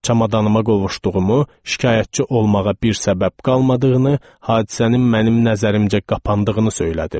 Çamadanıma qovuşduğumu, şikayətçi olmağa bir səbəb qalmadığını, hadisənin mənim nəzərimcə qapandığını söylədim.